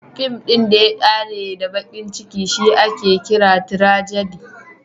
Fin ɗin da ya ƙare da baƙin ciki shi ake kira tirajadi (tragedy).